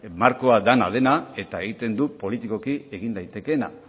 markoa dana dena eta egiten du politikoki egin daitekeena